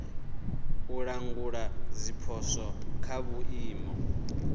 u langula zwipotso kha vhuimo